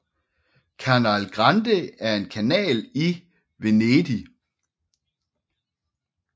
Canal Grande er en kanal i Venedig